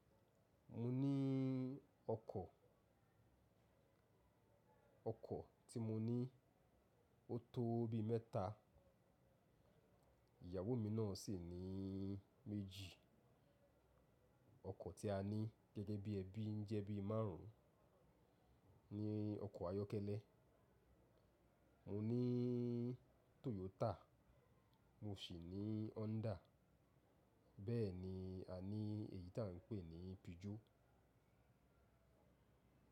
Mo ní ọkọ̀, ọkọ̀ tí mo ní ó tó bí mẹ́ta, ìyàwó mi náà sì ní méjì. Ọkọ̀ tí a ní gẹ́gẹ́ bí ẹbí ń jẹ́ bí márùn ún ní ọkọ̀ ayọ́kẹ́lẹ́. Mo ní Toyota, mo sì ní Honda, bẹ́ẹ̀ ni a ní èyí tí à ń pè ní Peugeot.